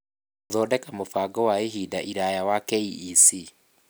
Gũthondeka mũbango wa ihinda iraya wa KEC.